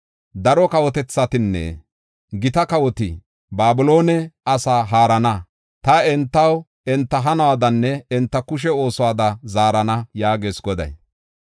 Daro kawotethatinne gita kawoti Babiloone asaa haarana. Ta entaw, enta hanuwadanne enta kushe oosuwada zaarana” yaagees Goday.